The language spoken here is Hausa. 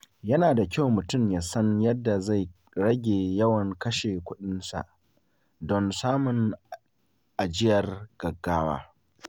Yana da kyau mutum ya san yadda zai rage yawan kashe kuɗinsa don samun ajiyar gaggawa.